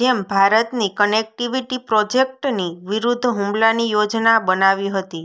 જેમ ભારતની કનેક્ટિવિટી પ્રોજેક્ટની વિરૂદ્ધ હુમલાની યોજના બનાવી હતી